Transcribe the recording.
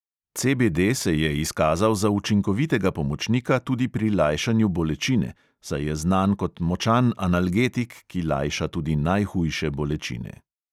CBD se je izkazal za učinkovitega pomočnika tudi pri lajšanju bolečine, saj je znan kot močan analgetik, ki lajša tudi najhujše bolečine.